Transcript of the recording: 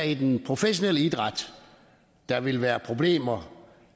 i den professionelle idræt der ville være problemer